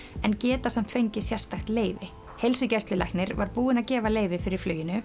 en geta fengið sérstakt leyfi heilsugæslulæknir var búinn að gefa leyfi fyrir fluginu